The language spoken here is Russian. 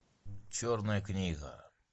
черная книга